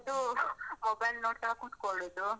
ಹಿಡ್ಕೊಂಡು mobile ನೋಡ್ತಾ ಕುತ್ಕೊಳ್ಳುದು.